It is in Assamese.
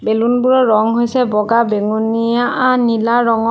বেলুন বোৰৰ ৰং হৈছে বগা বেঙুনীয়া আ নীলা ৰঙৰ।